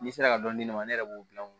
N'i sera ka dɔn ne ma ne yɛrɛ b'o gilan